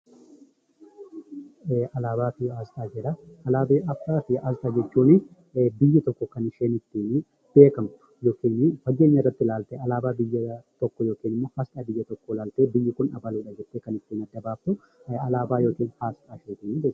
Alaabaa fi asxaa jedha. Alaabaa fi asxaa jechuun biyyi tokko kan isheen ittiin beekamtu yookiin fageenya irratti ilaaltee alaabaa biyya tokko yookiin immoo asxaa biyya tokkoo ilaaltee biyyi kun abaluudha jettee kan ittiin adda baaftu alaabaa yookiin asxaa jedhuu jechuudha.